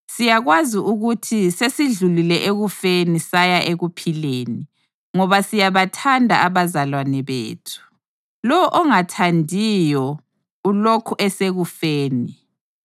Siyakwazi ukuthi sesidlulile ekufeni saya ekuphileni, ngoba siyabathanda abazalwane bethu. Lowo ongathandiyo ulokhu esekufeni.